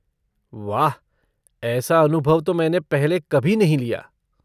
वाह, ऐसा अनुभव तो मैंने पहले कभी नहीं लिया।